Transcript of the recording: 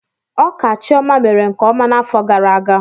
Ọka Chioma mere nkeọma n'afọ gara aga